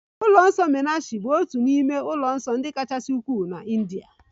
Ụlọ nsọ meenakshi bụ otu n'ime ụlọ nsọ kachasị ukwuu na India